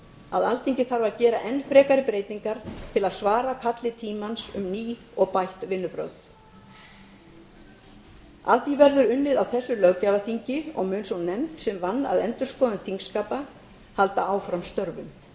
að alþingi þarf að gera enn frekari breytingar til að svara kalli tímans um ný og bætt vinnubrögð að því verður unnið á þessu löggjafarþingi og mun sú nefnd sem vann að endurskoðun þingskapa halda áfram störfum